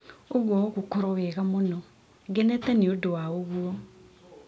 ũguo ũgũkorwo wega mũno! Ngenete nĩ ũndũ wa ũguo.